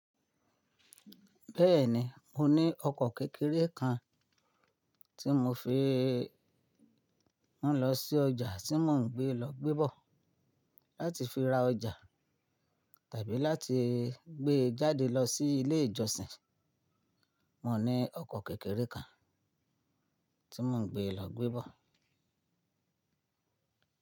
Bẹ́ẹ̀ni, mo ní ọkọ̀ kékeré kan tí mo fi ń lọ sí ọjà tí mò ń gbé lọ gbé bọ̀. Láti fi ra ọjà tàbí láti gbé jáde lọ sí ilé ìjọsìn. Mo ní ọkọ̀ kékeré kan tí mò ń gbé lọ gbé bọ̀.